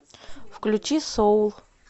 включи соул